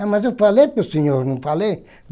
Ah, mas eu falei para o senhor, não falei?